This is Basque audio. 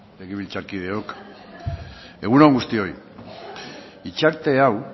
legebiltzarkideok egun on guztioi hitzarte hau